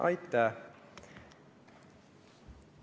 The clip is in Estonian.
Aitäh!